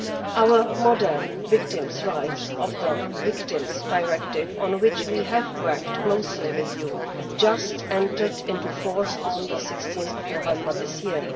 Our modern victims' rights in the Victims Directive, on which we have worked closely with you, just entered into force on 16 November this year.